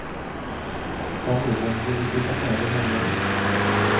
Familjen ville flytta med den här gången.